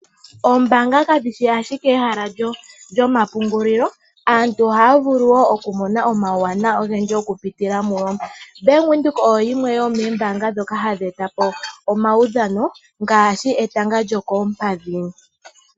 Oombanga kadhishi ashike ehala lyomapungulilo aantu ohaya vulu wo oku mona omauwanawa ogendji oku pitila muyo bank windhoek oyo yimwe yomombanga dhoka hadhi etapo omaudhano ngashi etanga lyokompadhi.